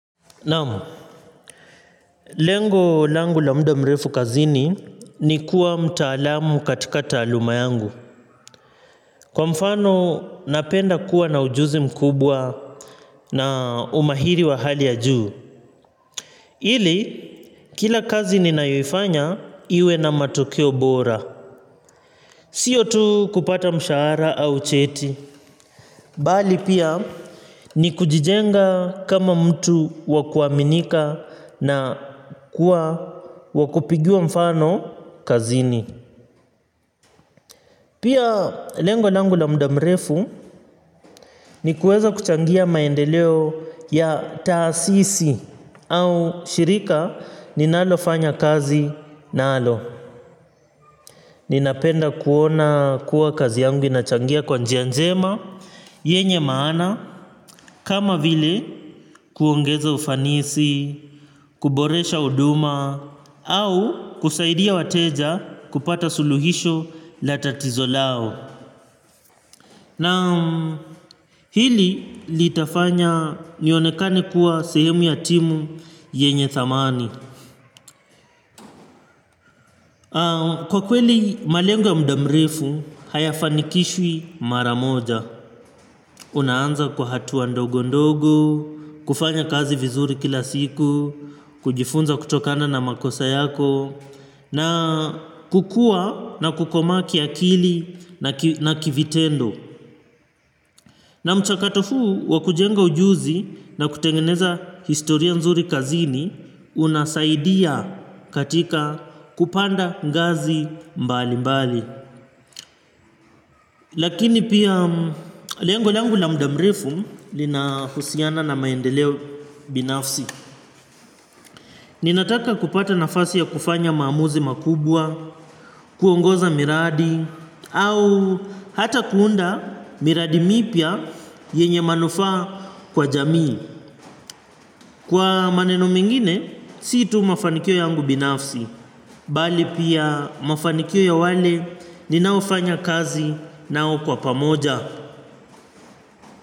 Naam, lengo langu la muda mrefu kazini ni kuwa mtaalamu katika taluma yangu. Kwa mfano, napenda kuwa na ujuzi mkubwa na umahiri wa hali ya juu. Ili, kila kazi ni naifanya iwe na matokio bora. Sio tu kupata mshahara au cheti. Bali pia ni kujijenga kama mtu wakuaminika na kuwa wakupigiwa mfano kazini. Pia lengo langu la muda mrefu ni kueza kuchangia maendeleo ya taasisi au shirika ninalofanya kazi nalo. Ninapenda kuona kuwa kazi yangu inachangia kwa njia njema yenye maana kama vile kuongeza ufanisi, kuboresha huduma au kusaidia wateja kupata suluhisho la tatizo lao. Na hili litafanya nionekani kuwa sehemu ya timu yenye thamani. Kwa kweli malengo ya muda mrefu hayafanikishwi mara moja. Unaanza kwa hatuwa ndogo ndogo, kufanya kazi vizuri kila siku, kujifunza kutokana na makosa yako, na kukua na kukoma kia akili na kivitendo. Na mchakato huu wakujenga ujuzi na kutengeneza historia nzuri kazini, unasaidia katika kupanda ngazi mbali mbali. Lakini pia lengo langu la muda mrefu lina husiana na maendeleo binafsi. Ninataka kupata nafasi ya kufanya maamuzi makubwa, kuongoza miradi au hata kuunda miradi mipya yenye manufaa kwa jamii, kwa maneno mengine, si tu mafanikio yangu binafsi bali pia mafanikio ya wale ninaofanya kazi nao kwa pamoja.